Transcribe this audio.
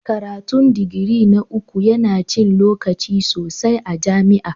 Karatun digiri na uku yana cin lokaci sosai a jami'a.